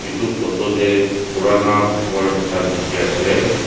etu photo deh purana ghor ekta dikhi asey.